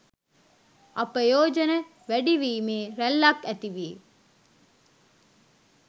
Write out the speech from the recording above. අපයෝජන වැඩිවීමේ රැල්ලක් ඇති වී